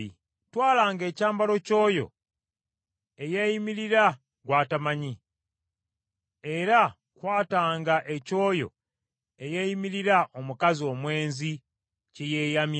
Twalanga ekyambalo ky’oyo eyeeyimirira gw’atamanyi, era kwatanga eky’oyo eyeeyimirira omukazi omwenzi kye yeeyamye.